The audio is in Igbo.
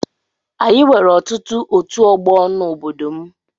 Anyị nwere ọtụtụ ọtu ọgbọ n'obodo m